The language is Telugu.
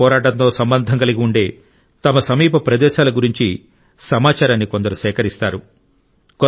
స్వాతంత్ర్య పోరాటంతో సంబంధం కలిగి ఉండే తమ సమీప ప్రదేశాల గురించి సమాచారాన్ని కొందరు సేకరిస్తారు